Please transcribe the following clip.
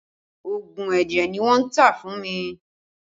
Oogun ẹ̀jẹ̀ ni wọ́n tà fún mi